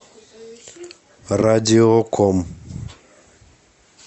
радиоком